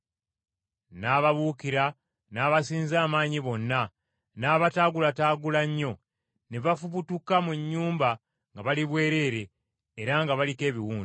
N’ababuukira n’abasinza amaanyi bonna, n’abataagulataagula nnyo, ne bafubutuka mu nnyumba nga bali bwereere, era nga baliko ebiwundu.